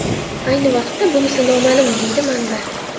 Ayni vaqtda bunisi noma’lum”, deydi manba.